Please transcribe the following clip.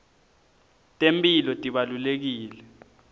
temphilo tibalulekile